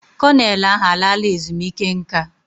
Kọnel ahụ alaala ezumike nka.